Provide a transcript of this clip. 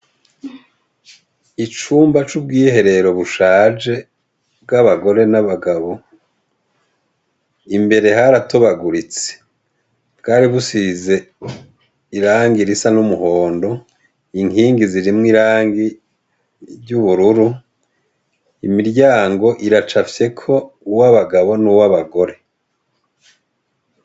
Icumba c' ubwiherero bushaje bw' abagore n'abagabo , imbere haratonaguritse .Bwari busize irangi risa n' umuhongo ,inkingi zirimwo irangi ry' ubururi, imiryango iracafyeko uw' abagabo n' uwabagore .